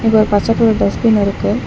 இங்க ஒரு பச்ச கலர் டஸ்பின் இருக்கு.